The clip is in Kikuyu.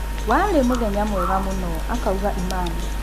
"Warĩ mũthenya mwega mũno," akauga Iman.